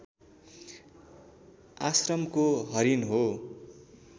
आश्रमको हरिण हो